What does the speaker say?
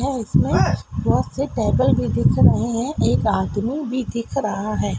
है इसमें बहुत से टेबल भी दिख रहे हैं एक आदमी भी दिख रहा है।